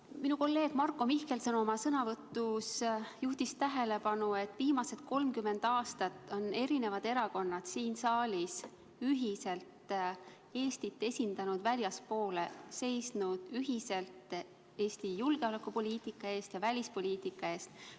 Minu kolleeg Marko Mihkelson oma sõnavõtus juhtis tähelepanu, et viimased 30 aastat on eri erakonnad siin saalis ühiselt Eestit väljapoole esindanud, seisnud ühiselt Eesti julgeolekupoliitika ja välispoliitika eest.